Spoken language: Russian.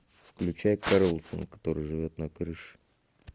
включай карлсон который живет на крыше